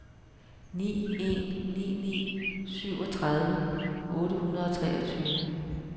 ni en ni ni syvogtredive otte hundrede og treogtyve